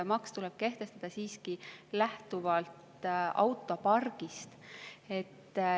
Maks tuleb kehtestada siiski lähtuvalt autopargist.